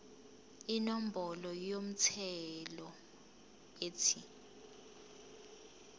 inombolo yomthelo ethi